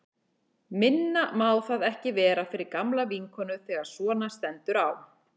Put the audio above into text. Minna má það ekki vera fyrir gamla vinkonu þegar svona stendur á.